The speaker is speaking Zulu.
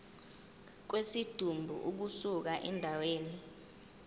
kwesidumbu ukusuka endaweni